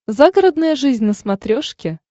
загородная жизнь на смотрешке